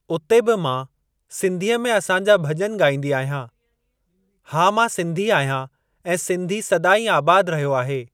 उते बि मां सिंधीअ में असां जा भॼन ॻाईंदी आहियां। हा मां सिंधी आहियां ऐं सिंधी सदाईं आबाद रहियो आहे।